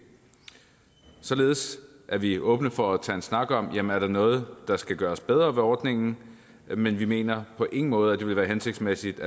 således er vi åbne for at tage en snak om om der er noget der skal gøres bedre ved ordningen men vi mener på ingen måde at det vil være hensigtsmæssigt